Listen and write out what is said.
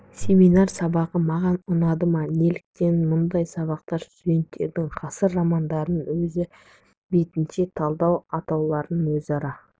семинар сабағы маған ұнады ма неліктен мұндай сабақтар студенттердің ғасыр романдарын өз бетінше талдай алуларына өзара